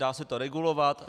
Dá se to regulovat.